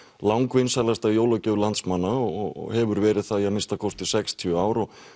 langvinsælasta jólagjöf landsmanna og hefur verið það í að minnsta kosti sextíu ár og